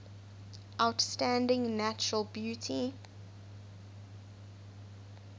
outstanding natural beauty